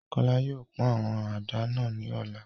Kola yóò pọn awọn àdá náa ni ọla